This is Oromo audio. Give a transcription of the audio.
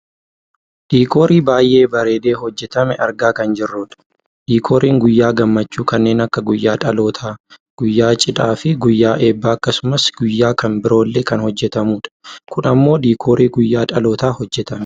Diikoorii baayyee bareedee hojjatame argaa kan jirrudha. Diikooriin guyyaa gammachuu kanneen akka guyyaa dhalootaa, guyyaa cidhaafi guyyaa ebbaa akkasumas guyyaa kan biroollee kan hojjatamudha. Kun ammoo diikoorii guyyaa dhalootaa hojjatamedha.